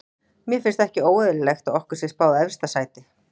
Mér finnst ekki óeðlilegt að okkur sé spáð efsta sæti.